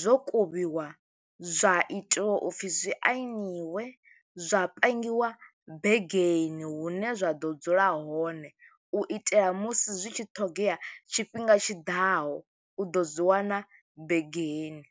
zwo kuvhiwa, zwa itiwa u pfi zwi ainiwe, zwa pangiwa begeni hune zwa ḓo dzula hone. U itela musi zwi tshi ṱhogea tshifhinga tshiḓaho, u ḓo zwi wana begeni.